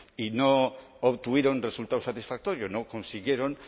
y no obtuvieron resultado satisfactorio no consiguieron